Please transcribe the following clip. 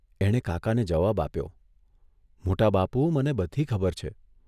એણે કાકાને જવાબ આપ્યો, ' મોટા બાપુ, મને બધી ખબર છે.